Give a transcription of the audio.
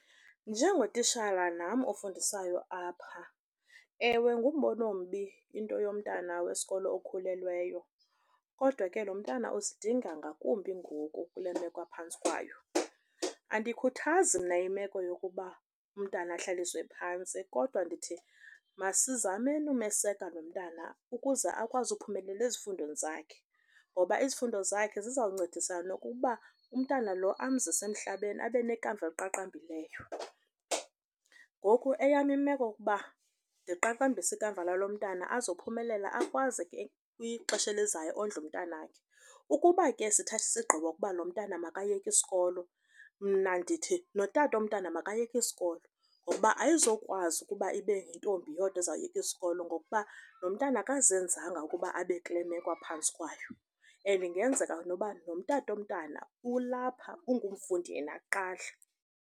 Njengotishala nam ofundisayo apha, ewe, ngumbono ombi into yomntwana wesikolo okhulelweyo. Kodwa ke lo mntana usidinga ngakumbi ngoku kule meko aphantsi kwayo. Andiyikhuthazi mna imeko yokuba umntwana ahlaliswe phantsi, kodwa ndithi masizameni umeseka lo mntana ukuze akwazi ukuphumelela ezifundweni zakhe, ngoba izifundo zakhe ziza kuncedisana nokuba umntwana lo amzise emhlabeni abe nekamva eliqaqambileyo. Ngoku eyam imeko ukuba ndiqaqambise ikamva lalo mntana, azophumelela, akwazi kwixesha elizayo ondle umntwana wakhe. Ukuba ke sithathe isigqibo ukuba lo mntana makayeke isikolo mna ndithi notata womntana makayeke isikolo ngokuba ayizokwazi ukuba ibe yintombi yodwa uzawushiyeka isikolo ngokuba nomntana akazenzanga ukuba abe kule meko aphantsi kwayo, and ingenzeka noba notata womntana ulapha ungumfundi yena kuqala.